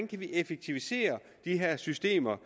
kan effektivisere de her systemer